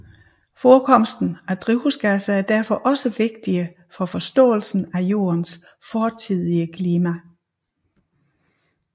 Forekomsten af drivhusgasser er derfor også vigtige for forståelsen af Jordens fortidige klima